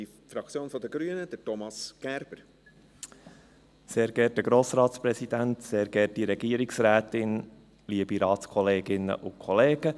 Ich möchte Sie kurz auf eine kleine Reise in die Bergwelt mitnehmen.